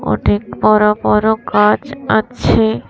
অনেক বড় বড় গাছ আছে।